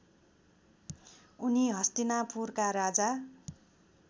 उनी हस्तिनापुरका राजा